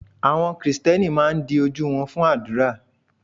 Àwọn Kristẹni máa ń di ojú wọn fún àdúrà.